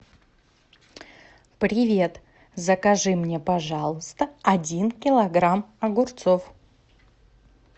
привет закажи мне пожалуйста один килограмм огурцов